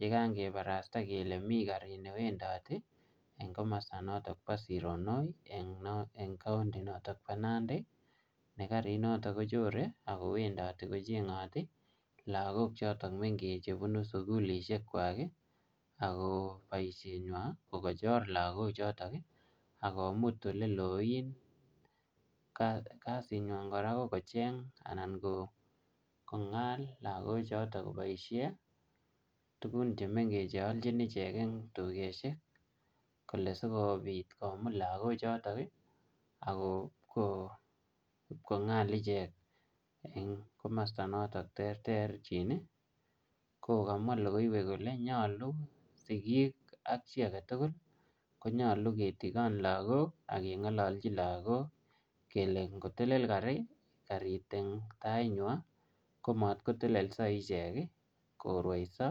yekan kibarasta kele newendoti en komosto noton nebo Sironoi en county noton bo Nandi ne karinoto kochore ak kowendoti kochengoti lagok choton mengech chebunu sugulishekwak ii ako boishenywan kokochor lagochotok ii ak komut eleloen, kasinywan koraa kokocheng anan kongal lagochoto koboishen tugun chemengech che olchin ichek ii en tugoshek kole sikobit komut lagochotok ii ak ipkongal ichek en komosto noton terterchin ii ko kamwa logoiwek kole nyolu en sigik ak chi aketugul konyolu ketikon lagok ak kongolojin kele ingotelel karit en tainywaa komotkotelelso ichek korwoiso.